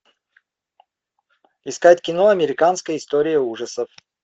искать кино американская история ужасов